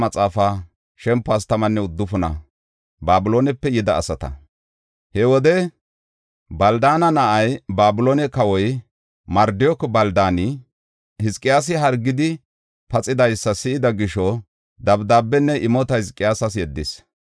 He wode, Baldaana na7ay, Babiloone kawoy Mardook-Baldaani, Hizqiyaasi hargidi paxidaysa si7ida gisho, dabdaabenne imota Hizqiyaasas yeddis.